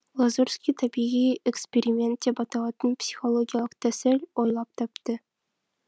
лазурский табиғи эксперимент деп аталатын психологиялық тәсіл ойлап тапты